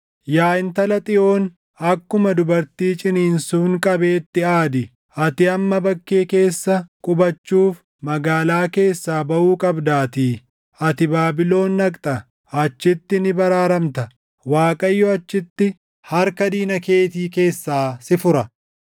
Yaa Intala Xiyoon, akkuma dubartii ciniinsuun qabeetti aadi; ati amma bakkee keessa qubachuuf magaalaa keessaa baʼuu qabdaatii. Ati Baabilon dhaqxa; achitti ni baraaramta. Waaqayyo achitti harka diina keetii keessaa si fura.